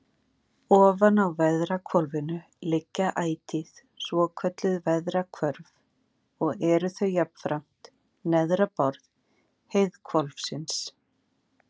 Ofan á veðrahvolfinu liggja ætíð svokölluð veðrahvörf og eru þau jafnframt neðra borð heiðhvolfsins.